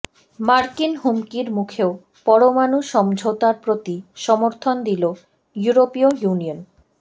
মার্কিন হুমকির মুখেও পরমাণু সমঝোতার প্রতি সমর্থন দিল ইউরোপীয় ইউনিয়ন